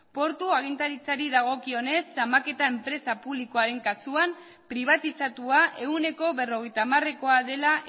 portu agintaritzari dagokionez zamaketa enpresa publikoaren kasuan pribatizatua ehuneko berrogeita hamarekoa dela